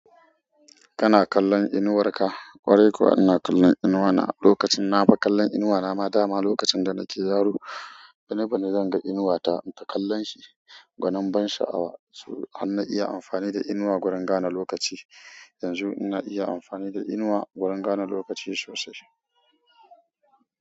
Kana kallon inuwar ka? Ƙwarai kuwa ina kallon inuwa na. Lokacin na fi kallon inuwa na ma dama. Lokacin da nake yaro, bini binj zan ga inuwa ta. In ta kallanshi, gwanin ban sha'awa. So har na iya amfani da inuwa gurin gane lokaci. Yanzu ina iya amfani da inuwa gurin gane lokaci sosai.